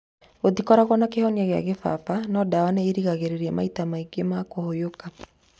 Gũtikoragwo na kĩhonia kĩa kĩbaba no ndawa nĩ irigagĩrĩria maita maingĩ ma kũhũyũka.